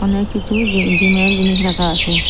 অনেক কিচু জি জিমের জিনিস রাখা আচে।